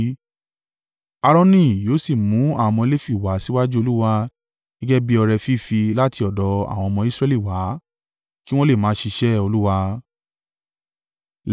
Aaroni yóò sì mú àwọn ọmọ Lefi wá síwájú Olúwa gẹ́gẹ́ bí ọrẹ fífì láti ọ̀dọ̀ àwọn ọmọ Israẹli wá, kí wọn lè máa ṣiṣẹ́ Olúwa.